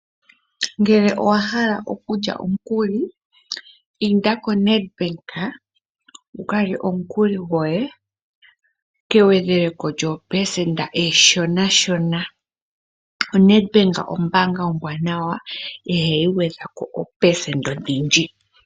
Ngele owa hala oku lya omukuli, inda ko Ned Bank wuka lye omukuli gwoye kegwedheleko lyoopelesenda eshona shona. oNed Bank ombaanga ombwaanawa ihayi gwedhako iihupe odhindji.